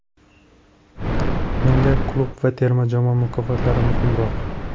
Menga klub va terma jamoa mukofotlari muhimroq.